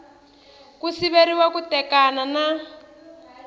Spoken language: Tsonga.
ku siveriwa ku tekana na